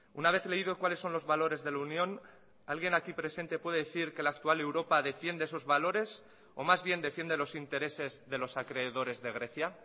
una vez leído cuáles son los valores de la unión alguien aquí presente puede decir que la actual europa defiende esos valores o más bien defiende los intereses de los acreedores de grecia